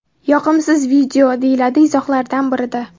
Yoqimsiz video”, deyiladi izohlardan birida.